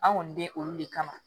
An kɔni bɛ olu de kama